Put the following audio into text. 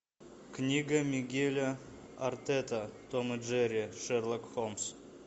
книга мигеля артета том и джерри шерлок холмс